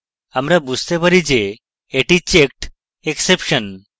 আমরা বুঝতে পারি যে এটি checked exception